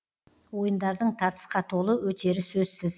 ойындардың тартысқа толы өтері сөзсіз